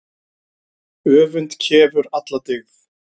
Öfund kefur alla dyggð.